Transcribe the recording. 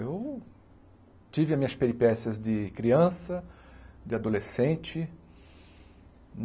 Eu tive as minhas peripécias de criança, de adolescente.